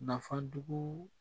Nafajugu